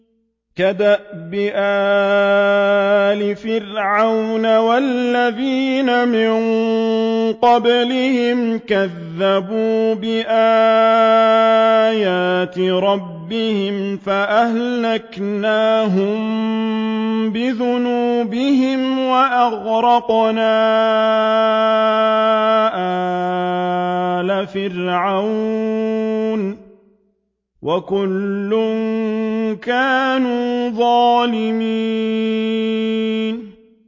كَدَأْبِ آلِ فِرْعَوْنَ ۙ وَالَّذِينَ مِن قَبْلِهِمْ ۚ كَذَّبُوا بِآيَاتِ رَبِّهِمْ فَأَهْلَكْنَاهُم بِذُنُوبِهِمْ وَأَغْرَقْنَا آلَ فِرْعَوْنَ ۚ وَكُلٌّ كَانُوا ظَالِمِينَ